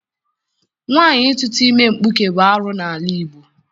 Nwaanyị ịtụta ime nkpuke bụ arụ n'ala Igbo.